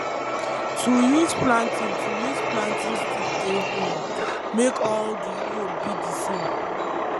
to use planting to use planting stick dey um make all d hole be d same